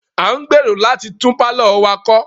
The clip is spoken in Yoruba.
A ń gbèrò láti tún pálọ̀ wa kọ́.